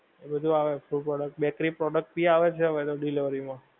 એ બધું આવે ઓછું પડે bakery product ભી આવે ને delivery માં